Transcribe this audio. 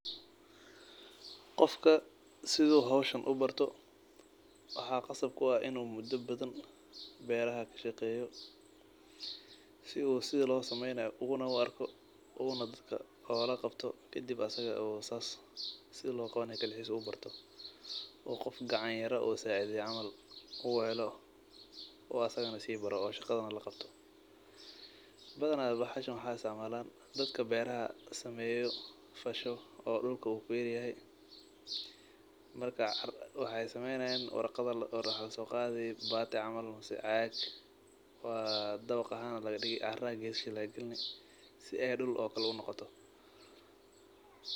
Qoofka sidho hawsahn u barto waxa qasaab ku aah inu muda badhaan beerha kasheqeyo. Sidho losamenayo ugu arko una daadka ulagabto kadib na saas sidhi logabanayo kaligees u barto oo qoof gacan yaaro oo sacidheyo camal uu helo kuwaas isaga na si baaro oo shagadha na lagabto. Badhana waxas na waxa isticmalan daadka beeraha kashaqeyo oo kafsaho oo dulka oo beer yahay. Marka waxay saeynayan warqad aa loqora waxa lasogadhi baati camal mise caag waa dabag ahaan lagadigi cara kesha laga gilini si ay duul oo kale unogoto.